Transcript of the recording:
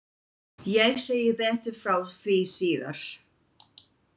Ég segi betur frá því síðar.